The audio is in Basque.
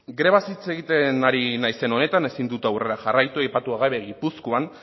grebaz hitz egiten ari naizen honetan ezin dut aurrera jarraitu aipatu gabe gipuzkoan